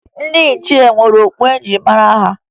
Ndị ichie nwere okpu e ji mara ha